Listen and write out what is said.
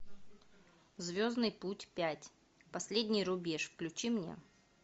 звездный путь пять последний рубеж включи мне